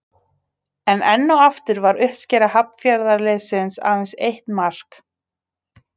En enn og aftur var uppskera Hafnarfjarðarliðsins aðeins eitt mark.